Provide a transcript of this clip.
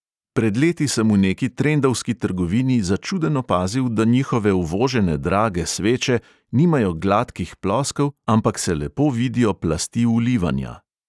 Pred leti sem v neki trendovski trgovini začuden opazil, da njihove uvožene drage sveče nimajo gladkih ploskev, ampak se lepo vidijo plasti ulivanja.